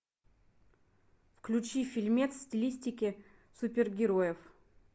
включи фильмец в стилистике супергероев